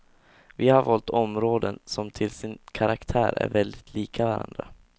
Vi har valt områden som till sin karaktär är väldigt lika varandra.